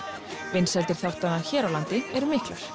vinsældir þáttanna hér á landi eru miklar